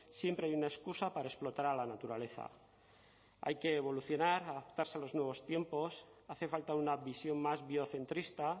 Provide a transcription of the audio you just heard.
siempre hay una excusa para explotar a la naturaleza hay que evolucionar adaptarse a los nuevos tiempos hace falta una visión más biocentrista